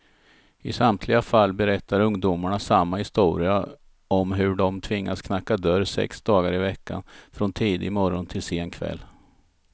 I samtliga fall berättar ungdomarna samma historia om hur de tvingats knacka dörr sex dagar i veckan, från tidig morgon till sen kväll.